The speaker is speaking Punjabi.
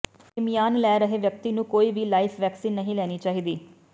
ਇਮਯਾਨ ਲੈ ਰਹੇ ਵਿਅਕਤੀ ਨੂੰ ਕੋਈ ਵੀ ਲਾਈਵ ਵੈਕਸੀਨ ਨਹੀਂ ਲੈਣੀ ਚਾਹੀਦੀ